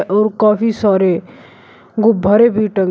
और काफी सॉरे गुब्बारे टंगे--